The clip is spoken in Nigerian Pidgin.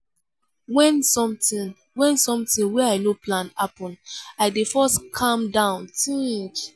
wen sometin wen sometin wey i no plan happen i dey first calm down tink.